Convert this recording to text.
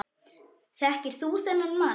Þekkir þú þennan mann?